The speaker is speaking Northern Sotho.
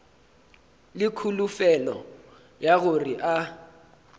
le kholofelo ya gore a